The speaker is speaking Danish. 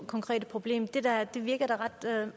konkrete problem det virker da ret